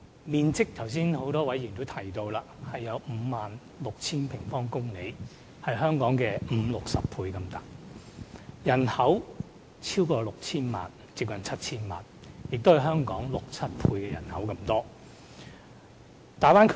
面積方面約為 56,000 平方公里，是香港面積的五六十倍；人口超過 6,000 萬，接近 7,000 萬，是香港人口的六七倍。